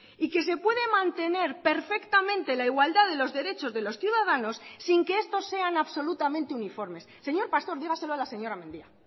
y que se puede mantener perfectamente la igualdad de los derechos de los ciudadanos sin que estos sean absolutamente uniformes señor pastor dígaselo a la señora mendia